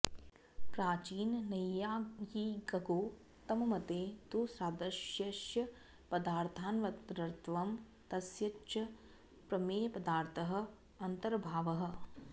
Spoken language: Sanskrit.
प्राचीननैयायिकगौतममते तु सादृश्यस्य पदार्थान्तरत्वं तस्य च प्रमेयपदार्थः अन्तर्भावः